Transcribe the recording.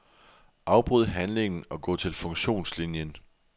Afbryd handlingen og gå til funktionslinien.